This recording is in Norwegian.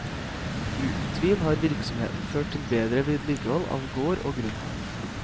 Uten tvil har virksomheten ført til bedre vedlikehold av gård og grunn.